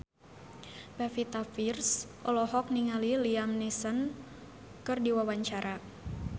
Pevita Pearce olohok ningali Liam Neeson keur diwawancara